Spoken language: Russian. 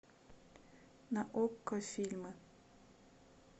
на окко фильмы